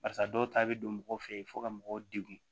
Barisa dɔw ta bɛ don mɔgɔw fɛ yen fo ka mɔgɔw degun